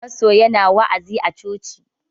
Pasto yana wa'azi a coci.